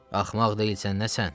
Axmaq deyilsən nə sən?